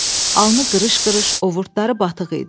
Alnı qırış-qırış, ovurtları batıq idi.